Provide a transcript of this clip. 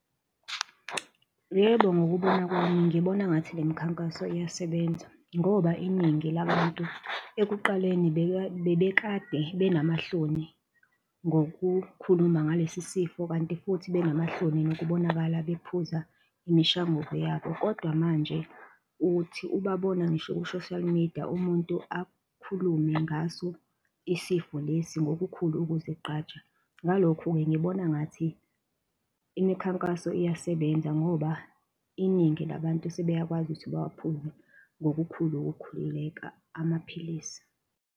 Yebo, ngokubona kwami ngibona ngathi le mikhankaso iyasebenza ngoba iningi labantu ekuqaleni bebekade benamahloni ngokukhuluma ngalesi sifo kanti futhi benamahloni nokubonakala bephuza imishanguzo yabo, kodwa manje uthi ubabona ngisho ku-social media umuntu akhulume ngaso isifo lesi ngokukhulu ukuzigqaja, ngalokho-ke ngibona ngathi imikhankaso iyasebenza ngoba iningi labantu sebeyakwazi ukuthi bawaphuze ngokukhulu ukukhululeka amaphilisi.